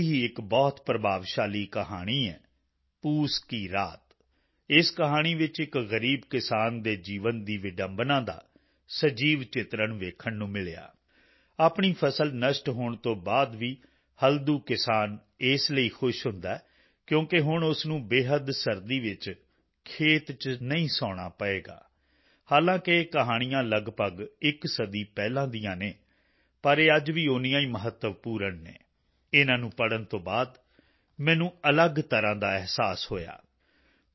ਅਜਿਹੀ ਹੀ ਇੱਕ ਬਹੁਤ ਪ੍ਰਭਾਵਸ਼ਾਲੀ ਕਹਾਣੀ ਹੈ ਪੂਸ ਕੀ ਰਾਤ ਇਸ ਕਹਾਣੀ ਵਿੱਚ ਇੱਕ ਗ਼ਰੀਬ ਕਿਸਾਨ ਦੇ ਜੀਵਨ ਦੀ ਵਿਡੰਬਣਾ ਦਾ ਸਜੀਵ ਚਿਤਰਣ ਵੇਖਣ ਨੂੰ ਮਿਲਿਆ ਆਪਣੀ ਫਸਲ ਨਸ਼ਟ ਹੋਣ ਤੋਂ ਬਾਅਦ ਵੀ ਹਲਦੂ ਕਿਸਾਨ ਇਸ ਲਈ ਖੁਸ਼ ਹੁੰਦਾ ਹੈ ਕਿਉਂਕਿ ਹੁਣ ਉਸ ਨੂੰ ਬੇਹੱਦ ਸਰਦੀ ਵਿੱਚ ਖੇਤ ਚ ਨਹੀਂ ਸੌਣਾ ਪਵੇਗਾ ਹਾਲਾਂਕਿ ਇਹ ਕਹਾਣੀਆਂ ਲਗਭਗ ਇੱਕ ਸਦੀ ਪਹਿਲਾਂ ਦੀਆਂ ਹਨ ਪਰ ਇਹ ਅੱਜ ਵੀ ਉਂਨੀਆਂ ਹੀ ਮਹੱਤਵਪੂਰਨ ਹਨ ਇਨ੍ਹਾਂ ਨੂੰ ਪੜ੍ਹਨ ਤੋਂ ਬਾਅਦ ਮੈਨੂੰ ਅਲੱਗ ਤਰ੍ਹਾਂ ਦਾ ਅਹਿਸਾਸ ਹੋਇਆ